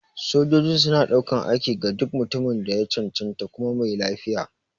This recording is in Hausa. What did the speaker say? Sojoji suna ɗaukan aiki ga duk mutumin da ya cancanta kuma mai lafiya.